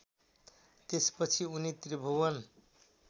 त्यसपछि उनी त्रिभुवन